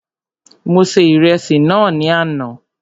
Mo se Ìrẹsì náà ní àná